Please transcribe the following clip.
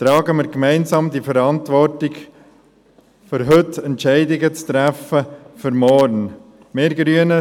Tragen wir diese Verantwortung gemeinsam, um heute Entscheidungen für morgen zu treffen.